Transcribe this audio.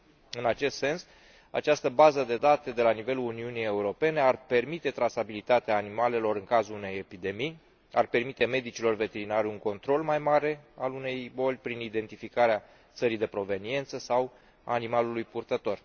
În acest sens, această bază de date de la nivelul Uniunii Europene ar permite trasabilitatea animalelor în cazul unei epidemii, ar permite medicilor veterinari un control mai mare al unei boli prin identificarea țării de proveniență sau a animalului purtător.